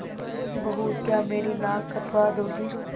बहू क्या मेरी नाक कटवा दोगी